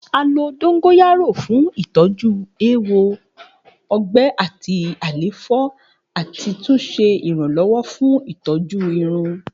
A lo dongoyaro fun itọju ewo, ọgbẹ ati àléfọ ati tun ṣe iranlọwọ fun itọju irun.